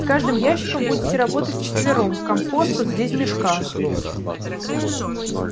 с каждым ящиком будете работать вчетвером компост вот здесь в мешках